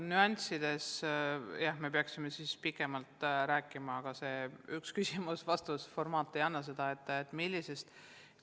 Nüanssidest me peaksime pikemalt rääkima, aga see formaat „üks küsimus ja vastus“ ei anna seda võimalust.